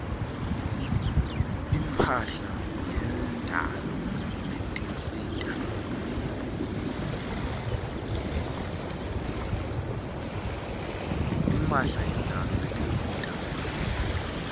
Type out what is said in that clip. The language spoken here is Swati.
imphahla yendalo netinsita